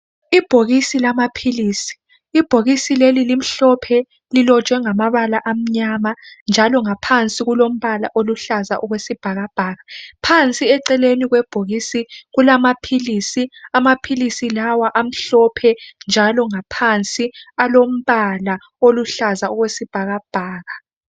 Ibhokisi lamaphilisi ibhokisi leli limhlophe lilotshwe ngamabala amnyama njalo ngaphansi kulombala oluhlaza okwesibhakabhaka phansi eceleni kwebhokisi kulamaphilisi amaphilisi lawa amhlophe njalo ngaphansi alombala oluhlaza okwesibhakabhaka.